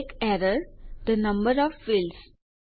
એક error the number of fields